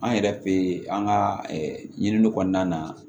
An yɛrɛ fɛ yen an ka ɲiniw kɔnɔna na